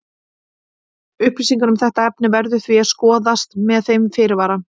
Upplýsingar um þetta efni verður því að skoðast með þeim fyrirvara.